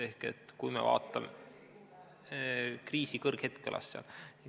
Ehk et kui me vaatame ... "Kriisi kõrghetk" kõlas seal.